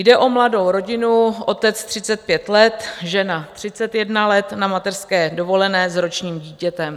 Jde o mladou rodinu, otec 35 let, žena 31 let na mateřské dovolené s ročním dítětem.